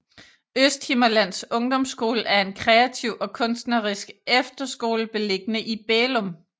Østhimmerlands Ungdomsskole er en er en kreativ og kunstnerisk efterskole beliggende i Bælum